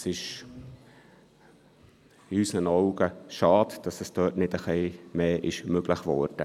Es ist in unseren Augen schade, dass dort nicht ein bisschen mehr möglich war.